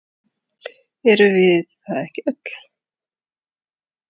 Erum við það ekki öll?